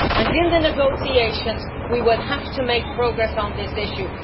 In the negotiations, we will have to make progress on this issue.